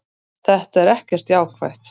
Þetta er ekkert jákvætt.